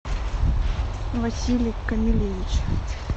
василий камильевич